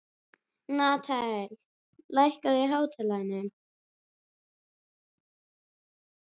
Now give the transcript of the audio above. Natanael, lækkaðu í hátalaranum.